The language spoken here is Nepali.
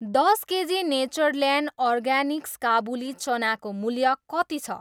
दस केजी नेचरल्यान्ड अर्गानिक्स काबुली चनाको मूल्य कति छ ?